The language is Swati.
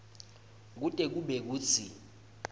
kute kube kutsi